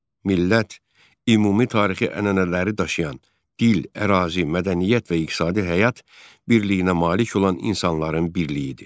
Millət ümumi tarixi ənənələri daşıyan, dil, ərazi, mədəniyyət və iqtisadi həyat birliyinə malik olan insanların birliyidir.